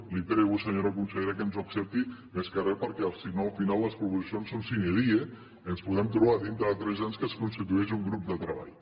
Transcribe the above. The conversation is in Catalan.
li prego senyora consellera que ens ho accepti més que re perquè si no al final les proposicions són sine die i ens podem trobar dintre de tres anys que es constitueix un grup de treball